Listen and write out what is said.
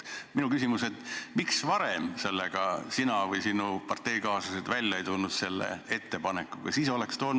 Miks sina või sinu parteikaaslased ei tulnud selle ettepanekuga varem välja?